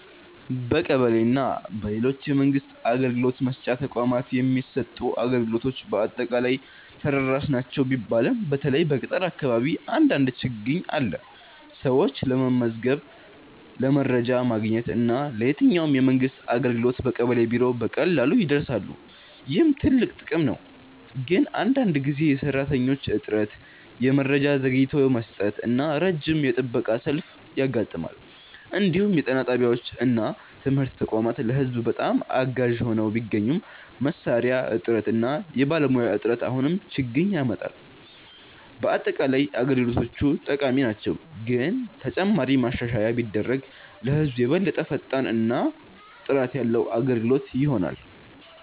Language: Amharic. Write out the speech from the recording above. በቀበሌ እና በሌሎች የመንግስት አገልግሎት መስጫ ተቋማት የሚሰጡ አገልግሎቶች በአጠቃላይ ተደራሽ ናቸው ቢባልም በተለይ በገጠር አካባቢ አንዳንድ ችግኝ አለ። ሰዎች ለመመዝገብ፣ ለመረጃ ማግኘት እና ለየትኛውም የመንግስት አገልግሎት በቀበሌ ቢሮ በቀላሉ ይደርሳሉ፣ ይህም ትልቅ ጥቅም ነው። ግን አንዳንድ ጊዜ የሰራተኞች እጥረት፣ የመረጃ ዘግይቶ መስጠት እና ረጅም የጥበቃ ሰልፍ ያጋጥማል። እንዲሁም የጤና ጣቢያዎች እና ትምህርት ተቋማት ለህዝብ በጣም አጋዥ ሆነው ቢገኙም መሳሪያ እጥረት እና የባለሙያ እጥረት አሁንም ችግኝ ያመጣል። በአጠቃላይ አገልግሎቶቹ ጠቃሚ ናቸው፣ ግን ተጨማሪ ማሻሻያ ቢደረግ ለህዝብ የበለጠ ፈጣን እና ጥራት ያለ አገልግሎት ይሆናል።